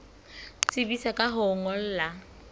tsebisa ka ho o ngolla